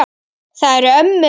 Það eru ömmur.